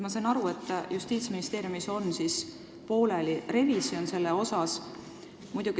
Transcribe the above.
Ma sain aru, et Justiitsministeeriumis on pooleli revisjon sellel teemal.